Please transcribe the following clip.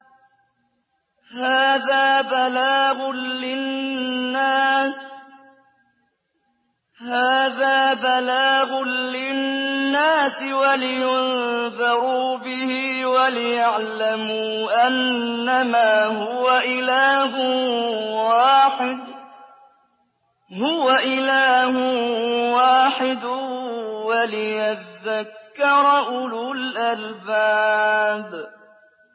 هَٰذَا بَلَاغٌ لِّلنَّاسِ وَلِيُنذَرُوا بِهِ وَلِيَعْلَمُوا أَنَّمَا هُوَ إِلَٰهٌ وَاحِدٌ وَلِيَذَّكَّرَ أُولُو الْأَلْبَابِ